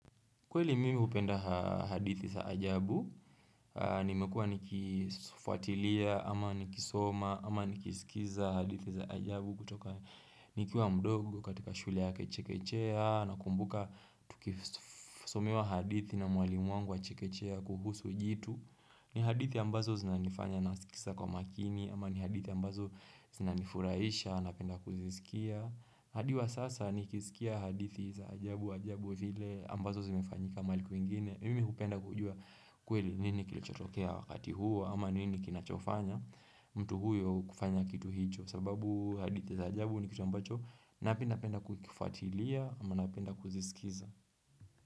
Kweli mimi hupenda hadithi za ajabu, nimekua nikifuatilia, ama nikisoma, ama nikisikiza hadithi za ajabu kutoka nikiwa mdogo, katika shule ya chekechea nakumbuka tukisomewa hadithi na mwalimu wangu wa chekechea kuhusu jitu. Ni hadithi ambazo zinanifanya nasikiza kwa makini, ama ni hadithi ambazo zinanifurahisha napenda kuzisikia. Hadi wa sasa nikisikia hadithi za ajabu ajabu vile ambazo zimefanyika mahali kwingine, mimi hupenda kujua kweli nini kilichotokea wakati huo ama nini kinachofanya mtu huyo kufanya kitu hicho sababu hadithi za ajabu ni kitu ambacho napenda kukifuatilia ama napenda kuzisikiza.